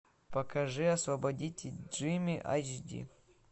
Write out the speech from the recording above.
покажи освободите джимми эйч ди